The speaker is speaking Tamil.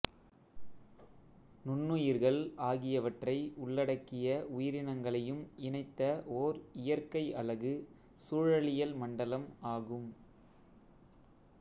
நுண்ணுயிர்கள் ஆகியவற்றை உள்ளடக்கிய உயிரினங்களையும் இணைத்த ஒர் இயற்கை அலகு சூழலியல் மண்டலம் ஆகும்